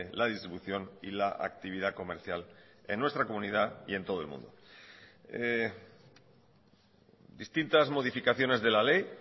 la distribución y la actividad comercial en nuestra comunidad y en todo el mundo distintas modificaciones de la ley